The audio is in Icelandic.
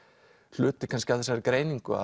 hluti kannski af þessari greiningu